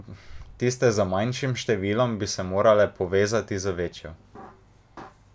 Tiste z manjšim številom bi se morale povezati z večjo.